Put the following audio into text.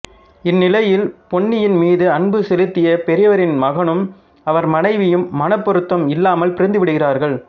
இந்நிலையில் பொன்னியின் மீது அன்பு செலுத்திய பெரியவரின் மகனும் அவர் மனைவியும் மனப் பொருத்தம் இல்லாமல் பிரிந்து விடுகிறார்கள்